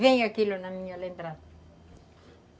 Vem aquilo na minha lembrança.